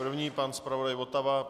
První pan zpravodaj Votava.